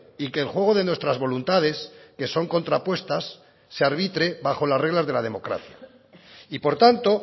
y que el juego de nuestras voluntades que son contrapuestas se arbitre bajo las reglas de la democracia y por tanto